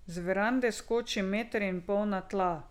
Z verande skoči meter in pol na tla.